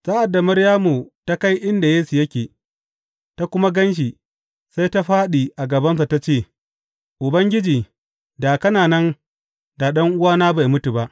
Sa’ad da Maryamu ta kai inda Yesu yake, ta kuma gan shi, sai ta fāɗi a gabansa ta ce, Ubangiji, da kana nan, da ɗan’uwana bai mutu ba.